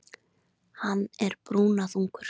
Hann er brúnaþungur.